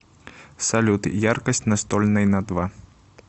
салют яркость настольной на два